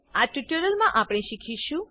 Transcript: આ ટ્યુટોરીયલમાં આપણે શીખીશું